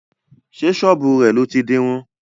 Sé sọ́bù rẹ̀ lọ ti dirun?